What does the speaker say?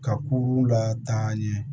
Ka kuru la taa ɲɛ